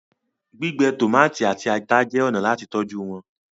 gbígbẹ tomati àti atá jé ọnà láti tọjú wón.